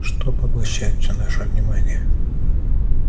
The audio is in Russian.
что поглощает всё наше внимание